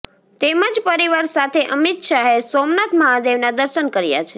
તેમજ પરિવાર સાથે અમિત શાહે સોમનાથ મહાદેવના દર્શન કર્યા છે